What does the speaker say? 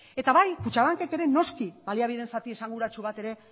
eta bai kutxabankek ere noski baliabideen zati esanguratsu bat ere